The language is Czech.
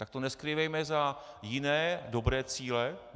Tak to neskrývejme za jiné dobré cíle.